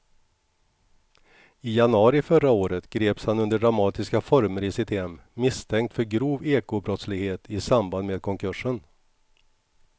I januari förra året greps han under dramatiska former i sitt hem misstänkt för grov ekobrottslighet i samband med konkursen.